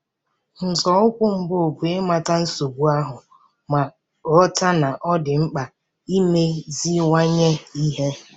Nzọụkwụ mbụ bụ ịmata nsogbu ahụ ma ghọta na ọ dị mkpa imeziwanye ihe.